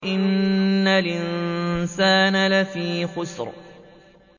إِنَّ الْإِنسَانَ لَفِي خُسْرٍ